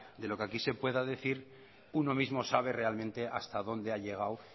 de lo que aquí se pueda decir uno mismo sabe realmente hasta dónde ha llegado